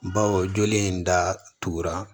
Bawo joli in datugura